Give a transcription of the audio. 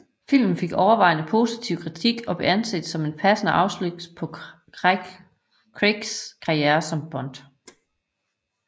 Filmen fik overvejende positiv kritik og blev anset som en passende afslutning på Craigs karriere som Bond